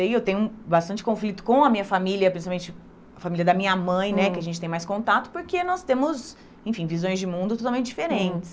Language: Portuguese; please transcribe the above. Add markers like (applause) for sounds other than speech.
(unintelligible) Eu tenho bastante conflito com a minha família, principalmente a família da minha mãe né, que a gente tem mais contato, porque nós temos, enfim, visões de mundo totalmente diferentes.